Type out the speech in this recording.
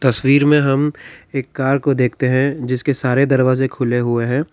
तस्वीर में हम एक कार को देखते हैं जिसके सारे दरवाजे खुले हुए हैं।